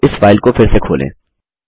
अब इस फाइल को फिर से खोलें